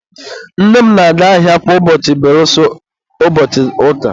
nne m na-aga ahịa kwa ụbọchị belụsọ ụbọchị ụka